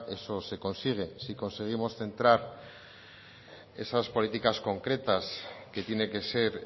eso se consigue si conseguimos centrar esas políticas concretas que tiene que ser